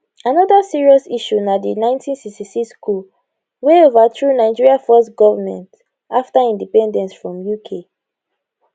anoda serious issue na di1966 coup wey overthrew nigeria first goment afta independence from uk